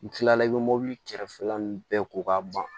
N kilala i bɛ mɔbili kɛrɛfɛla ninnu bɛɛ ko k'a ban